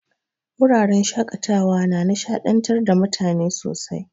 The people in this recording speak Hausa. Wuraren shaƙatawa na nishaɗantar da mutane sosai.